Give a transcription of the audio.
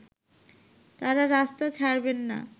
তারা রাস্তা ছাড়বেন না